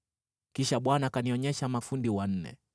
Kisha Bwana akanionyesha mafundi wanne.